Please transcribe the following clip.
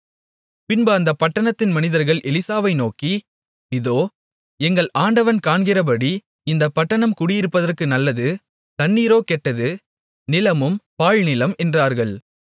பின்பு அந்தப் பட்டணத்தின் மனிதர்கள் எலிசாவை நோக்கி இதோ எங்கள் ஆண்டவன் காண்கிறபடி இந்தப் பட்டணம் குடியிருப்பதற்கு நல்லது தண்ணீரோ கெட்டது நிலமும் பாழ்நிலம் என்றார்கள்